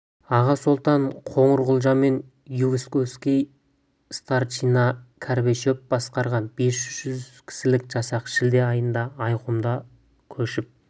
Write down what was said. аға сұлтан қоңырқұлжа мен войсковой старшина карбышев басқарған бес жүз кісілік жасақ шілде айында айырқұмда көшіп